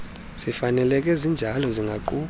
zifaneleke zinjalo zingaquka